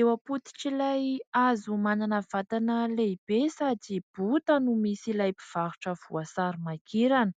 Eo ampototr' ilay hazo manana vatana lehibe sady bota no misy ilay mpivarotra voasary makirana,